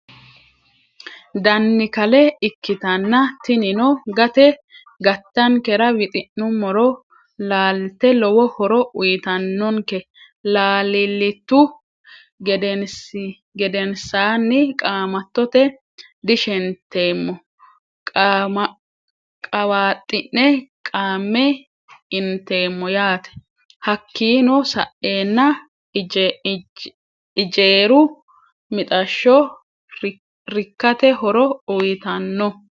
Dannikale ikitana tinonno gate gaattanikera wiixinnumoro lalite lowo hooro uyitannonike lalilitu geddenisanni qaamatote diishenitemo qaawaxinne qame enitemo yate hakinno saenna ijeeru mixasho rikate hooro uyittanno.